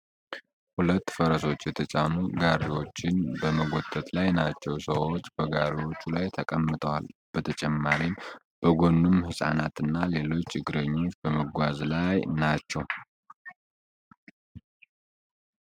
ሁለት ፈረሶች የተጫኑ ጋሪዎችን በመጎተት ላይ ናቸው። ሰዎች በጋሪዎቹ ላይ ተቀምጠዋል ብተጨማሪም በጎኑም ሕፃናት እና ሌሎች እግረኞች በመጓዝ ላይ ናቸው።